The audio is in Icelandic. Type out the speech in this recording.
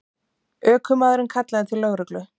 Ökumaðurinn kallaði til lögreglu